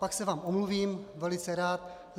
Pak se vám omluvím velice rád.